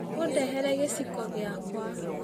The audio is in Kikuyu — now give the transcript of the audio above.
Ũndehere gĩciko gĩakwa.